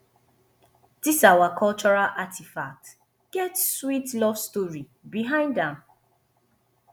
his our cultural artifact get sweet love story behind am